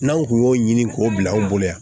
N'anw kun y'o ɲini k'o bila anw bolo yan